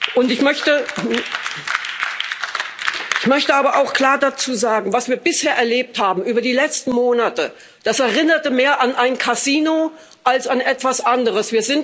Und ich möchte dazu aber auch klar sagen Was wir bisher erlebt haben, über die letzten Monate, das erinnert mehr an ein Casino als an etwas anderes.